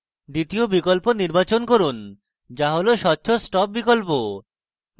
দ্বিতীয় বিকল্প নির্বাচন করুন যা হল স্বচ্ছ stop বিকল্প